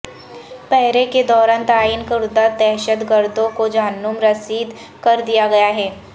پہرے کے دوران تعین کردہ دہشت گردوں کو جہنم رسید کر دیا گیا ہے